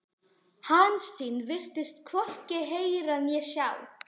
Hansína virtist hvorki heyra né sjá.